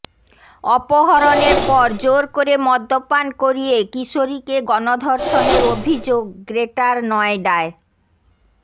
অপহরণের পর জোর করে মদ্যপান করিয়ে কিশোরীকে গণধর্ষণের অভিযোগ গ্রেটার নয়ডায়